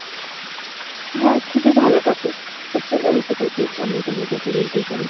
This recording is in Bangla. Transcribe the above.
হ্যাঁ। খুবই ভালো topic খুব সুন্দর একটা topic আমরা এটা নিয়ে কথা বলতেই পারি।